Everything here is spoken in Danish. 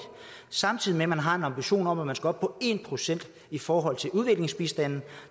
samtidig med at man har en ambition om at man skal op på en procent i forhold til udviklingsbistanden